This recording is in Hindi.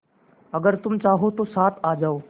अगर तुम चाहो तो साथ आ जाओ